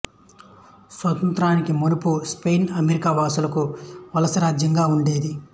స్వాతంత్ర్యానికి మునుపు Spain America వాసులకు వలస రాజ్యంగా ఉండేది